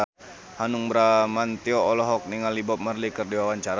Hanung Bramantyo olohok ningali Bob Marley keur diwawancara